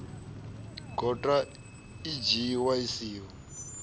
gota i dzhiiwa i siho